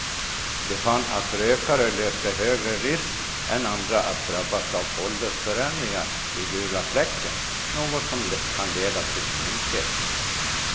De fann att rökare löpte högre risk än andra att drabbas av åldersförändringar i gula fläcken, något som kan leda till blindhet.